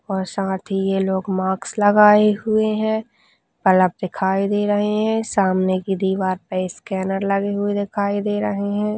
और साथ ही ये लोग माक्स लगाए हुये है अलग दिखाई दे रहे है सामने की दीवार पे स्कैनर लगे हुए दिखाई दे रहे है।